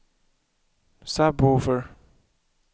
sub-woofer